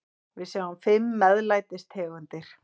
Við sjáum fimm MEÐLÆTIS tegundir.